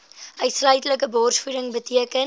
uitsluitlike borsvoeding beteken